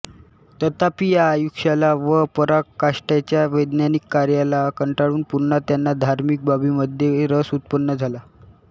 तथापि या आयुष्याला व पराकाष्ठेच्या वैज्ञानिक कार्याला कंटाळून पुन्हा त्यांना धार्मिक बाबींमध्ये रस उत्पन्न झाला